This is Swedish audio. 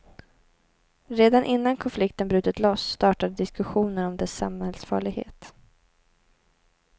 Redan innan konflikten brutit loss startade diskussionen om dess samhällsfarlighet.